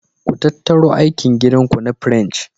Ku tattaru aikin gida ku na French.